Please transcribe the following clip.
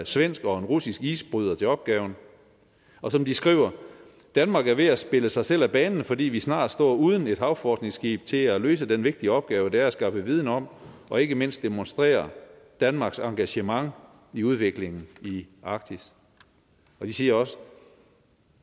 svensk og en russisk isbryder til opgaven og som de skriver danmark er ved at spille sig selv af banen fordi vi snart står uden et havforskningsskib til at løse den vigtige opgave det er at skaffe viden om og ikke mindst demonstrere danmarks engagement i udviklingen i arktis og de siger også